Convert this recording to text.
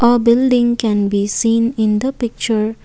A building can be seen in the picture.